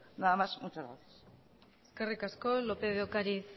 nada más muchas gracias eskerrik asko lópez de ocariz